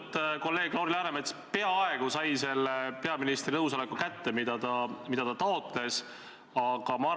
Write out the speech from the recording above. Põhja-Korea on selline riik, kus ei tohi mingeid asju kritiseerida, tõenäoliselt ei tohi seal üldse midagi öelda.